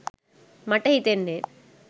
මට හිතෙන්නේ.